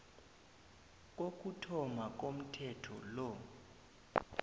kokuthoma komthetho lo